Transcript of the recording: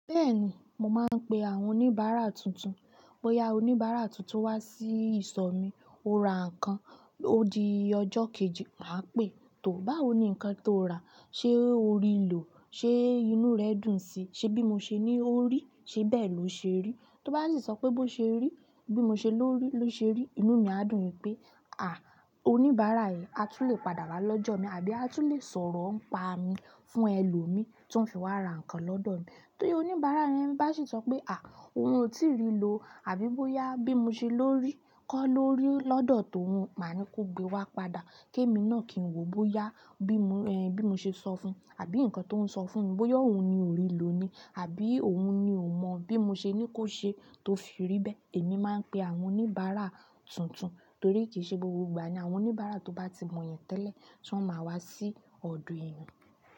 Bẹ́ẹ̀ni, mo máa ń pè àwọn oníbàárà tuntun. Bóyá oníbàárà tuntun wá sí ìsọ̀ mi, ó ra nǹkan, ó di ọjọ́ kejì, màá pè é, "tò báwo ní nǹkan tó rà, ṣé o rí lò? Ṣé inú rẹ dùn sí i? Ṣé bí mo ṣe ní o rí i, ṣe bẹ́ẹ̀ lo ṣe rí?" tó bá sì sọ pé bó ṣe rí-- bí mo ṣe lò rí lò ṣe rí, inú mi a dùn pé, ah oníbárà yìí àtún lè padà ra lọ́jọ́ mi àbí a tún lè sọ̀rọ̀ npa mi fún ẹ lọ mi, tí wọn fi wá ra ǹkan lọdọ míì bí oníbárà yẹn bá sì sope, ah, òun ò ti rí lò àbí bóyá bí mo sí lórí kó lórí lọdọ tó òun, máa ní kó gbewa padà kí èmi náà kí n wo bóyá bí mo, ẹ, bí mo ṣe sọ fún un àbí nǹkan tó ún sọ fún mi bóyá òun ni ò rí lò ni àbí òun ni ò mọ bí mo ṣe ní kó ṣe tó fi rí bẹ́ẹ̀. Èmi máa ń pè àwọn oníbàárà tuntun torí kì í ṣe gbogbo ìgbà ni àwọn oníbàárà tó bá ti mọ èyàn tẹ́lẹ̀ tí wọ́n máa wá sí ọ̀dọ̀ èèyàn.